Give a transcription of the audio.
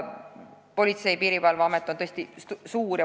Politsei- ja Piirivalveamet on tõesti suur.